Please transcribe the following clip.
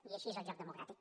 i així és el joc democràtic